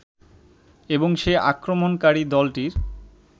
এবং সে আক্রমণকারী দলটির